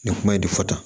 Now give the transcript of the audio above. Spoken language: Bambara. Nin kuma in de fɔ tan